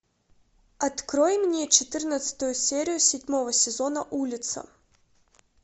открой мне четырнадцатую серию седьмого сезона улица